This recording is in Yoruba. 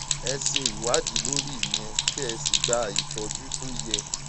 ẹ ṣe ìwádìí lórí ìyẹn kẹ ẹ sì gba ìtọjú tó yẹ